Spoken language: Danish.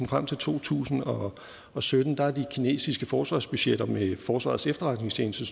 frem til to tusind og og sytten er de kinesiske forsvarsbudgetter ifølge forsvarets efterretningstjeneste